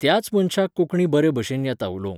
त्याच मनशाक कोंकणी बरे भशेन येता उलोवंक